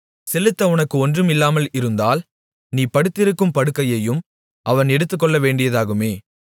செலுத்த உனக்கு ஒன்றும் இல்லாமல் இருந்தால் நீ படுத்திருக்கும் படுக்கையையும் அவன் எடுத்துக்கொள்ளவேண்டியதாகுமே